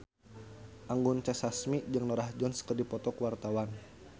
Anggun C. Sasmi jeung Norah Jones keur dipoto ku wartawan